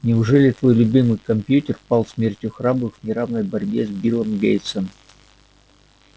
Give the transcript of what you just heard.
неужели твой любимый компьютер пал смертью храбрых в неравной борьбе с биллом гейтсом